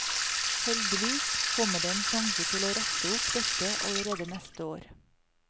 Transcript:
Heldigvis kommer det en sjanse til å rette opp dette allerede neste år.